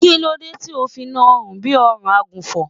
kílódé tí o fi na rùn bi ọrùn agùnfọn?